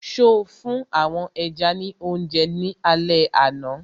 So fún àwọn ẹja ní oúnjẹ ní alẹ àná?